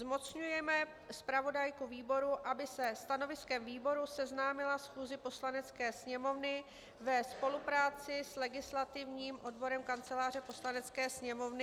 Zmocňuje zpravodajku výboru, aby se stanoviskem výboru seznámila schůzi Poslanecké sněmovny ve spolupráci s legislativním odborem Kanceláře Poslanecké sněmovny.